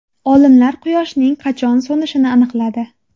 Olimlar Quyoshning qachon so‘nishini aniqladi.